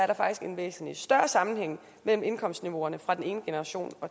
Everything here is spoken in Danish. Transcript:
der faktisk en væsentlig større sammenhæng mellem indkomstniveauerne fra den ene generation